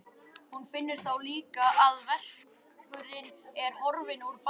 Hún finnur þá líka að verkurinn er horfinn úr bakinu.